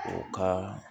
O ka